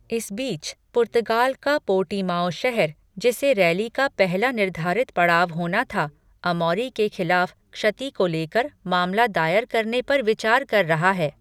इस बीच, पुर्तगाल का पोर्टिमाओ शहर जिसे रैली का पहला निर्धारित पड़ाव होना था, अमौरी के खिलाफ क्षति को लेकर मामला दायर करने पर विचार कर रहा है।